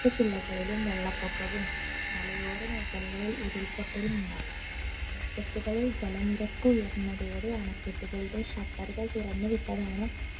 ക്ക ജില്ലകളിലും വെള്ളപ്പൊക്കവും മലയോര മേഗലകളിൽ ഉരുൾപൊട്ടലും ഉണ്ടായത് അണക്കെട്ടുകളിൽ ജലനിരപ്പ് ഉയർന്നതോടെയാണ് അണക്കെട്ടുകളുടെ shutter ഉകൾ തുറന്ന് വിട്ടതാണ്